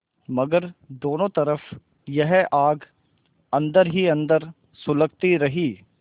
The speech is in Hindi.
मगर दोनों तरफ यह आग अन्दर ही अन्दर सुलगती रही